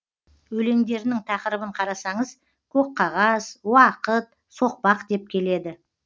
өлеңдерінің тақырыбын қарасаңыз көк қағаз уақыт соқпақ деп келеді